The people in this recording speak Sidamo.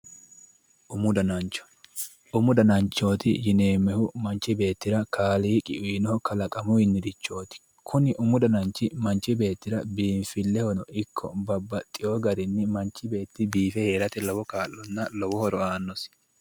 umu danachooti yineemmohu manchi beetira kaaliqi uyino kalaqamuyrichooti kuni umu dananchi biinfillehono ikko kuni manchi beetti biife heeranno gede lowo horo aano